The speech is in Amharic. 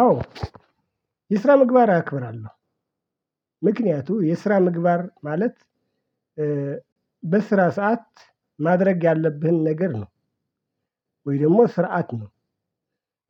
አዎ የስራ ምግባር አከብራለሁ። ምክንያቱም የስራ ምግባር ማለት በስራ ሰዓት ማድረግ ያለብህን ነገር ነው ወይ ደግሞ ስርዓት ነው።